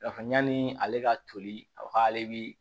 Yafa yanni ale ka toli a ka k'ale bi